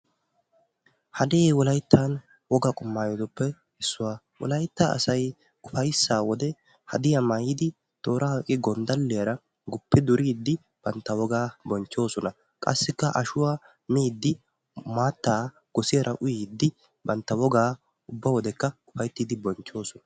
Hadee wolayttan wogaa maayotuppe issuwa. Wolaytta asay ufayssaa wode hadiya maayidi toora oyiqqi gonddalliyaara guppi duriiddi bantta wogaa bonchchoosona. Qassikka ashuwa miiddi maattaa gosiyaara uyyiiddi bantta wogaa ubba wodekka ufayittiidi bonchchoosona.